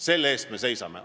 Selle eest me seisame.